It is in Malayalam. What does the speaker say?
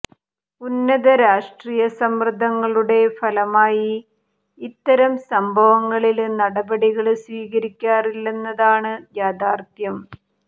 ഉന്നത രാഷ്ട്രീയ സമ്മര്ദ്ദങ്ങളുടെ ഫലമായി ഇത്തരം സംഭവങ്ങളില് നടപടികള് സ്വീകരിക്കാറില്ലെന്നതാണ് യാഥാര്ത്ഥ്യം